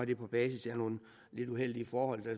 det på basis af nogle lidt uheldige forhold der